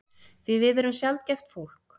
Því við erum sjaldgæft fólk.